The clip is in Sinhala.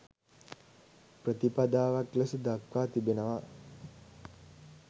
ප්‍රතිපදාවක් ලෙස දක්වා තිබෙනවා.